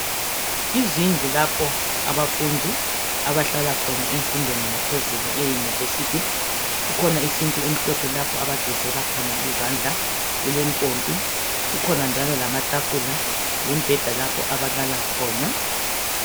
Izindlu lapho abafundi abahlala khona emfundweni yaphezulu eyunivesithi kukhona isinki emhlophe lapho abagezela khona izandla kulempompi kukhona njalo lamatafula lembheda lapho abalala khona